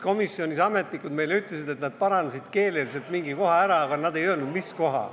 Komisjonis ametnikud ütlesid meile, et nad parandasid keeleliselt mingi koha ära, aga nad ei öelnud, mis koha.